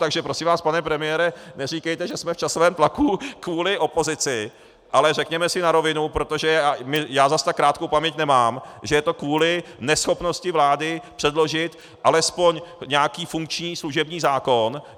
Takže prosím vás, pane premiére, neříkejte, že jsme v časovém tlaku kvůli opozici, ale řekněme si na rovinu, protože já zas tak krátkou paměť nemám, že je to kvůli neschopnosti vlády předložit alespoň nějaký funkční služební zákon.